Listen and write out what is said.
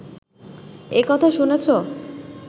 এ কথা শুনেছ